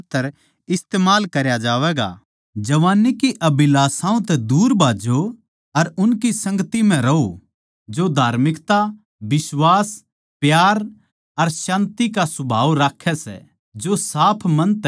जवान्नी की अभिलाषाओं तै दूर भाज्जो अर उनकी संगति म्ह रहों जो धार्मिकता बिश्वास प्यार अर शान्ति का सुभाव राक्खै सै जो साफ मन तै परमेसवर नै पुकारै सै